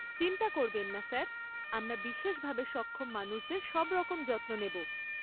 চিন্তা করবেন না স্যার, আমরা বিশেষভাবে সক্ষম মানুষদের সবরকম যত্ন নেব।